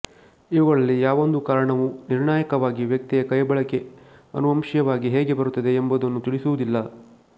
ಇವುಗಳಲ್ಲಿ ಯಾವೊಂದು ಕಾರಣವೊ ನಿರ್ಣಾಯಕವಾಗಿ ವ್ಯಕ್ತಿಯ ಕೈಬಳಕೆ ಅನುವಂಶೀಯವಾಗಿ ಹೇಗೆ ಬರುತ್ತದೆ ಎಂಬುದನ್ನು ತಿಳಿಸುವುದಿಲ್ಲ